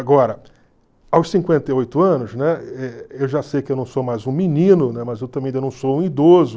Agora, aos cinquenta e oito anos, né, eh eu já sei que eu não sou mais um menino, né, mas eu também ainda não sou um idoso.